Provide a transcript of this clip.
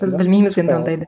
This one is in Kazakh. біз білмейміз енді ондайды